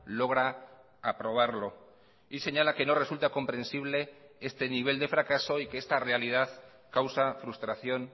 logra aprobarlo y señala que no resulta comprensible este nivel de fracaso y que esta realidad causa frustración